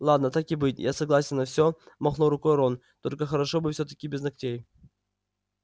ладно так и быть я согласен на все махнул рукой рон только хорошо бы всё-таки без ногтей